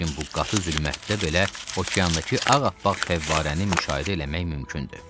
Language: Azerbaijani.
Lakin bu qatı zülmətdə belə okeandakı ağappaq fəvvarəni müşahidə eləmək mümkündür.